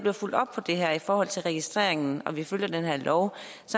er fulgt op på det her i forhold til registreringen og når vi følger den her lov